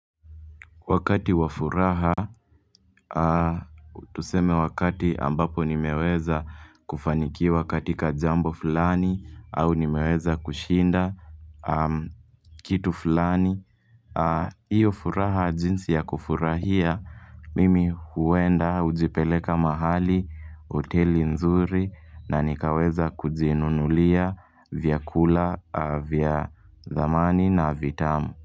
Wakati wa furaha, tuseme wakati ambapo nimeweza kufanikiwa katika jambo fulani au nimeweza kushinda kitu fulani. Iyo furaha jinsi ya kufurahia, mimi huenda hujipeleka mahali, hoteli nzuri na nikaweza kujinunulia vyakula, vya dhamani na vitamu.